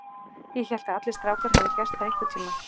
Ég hélt að allir strákar hefðu gert það einhvern tíma.